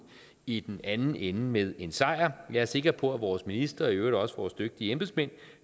i den anden ende med en sejr jeg er sikker på at vores minister og i øvrigt også vores dygtige embedsmænd